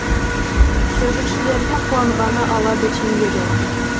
жүргіншілердің қуанғаны ала бөтен еді